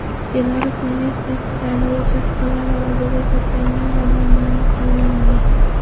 Belarus militsiyasi saylov uchastkalari oldida to‘plangan odamlarni qo‘lga olgan .